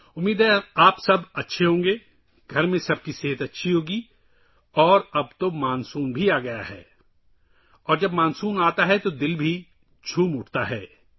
امید ہے آپ سب خیریت سے ہوں گے، گھر میں سب خیریت سے ہوں گے اور اب مانسون بھی آچکا ہے، اور جب مانسون آتا ہے تو من بھی خوش ہوجاتا ہے